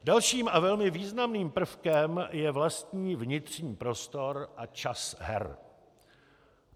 Dalším a velmi významným prvkem je vlastní vnitřní prostor a čas her.